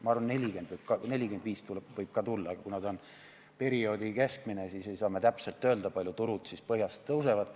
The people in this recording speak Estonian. Ma arvan, et 45% võib ka tulla, aga kuna ta on perioodi keskmine, siis ei saa me täpselt öelda, kui palju turud põhjast tõusevad.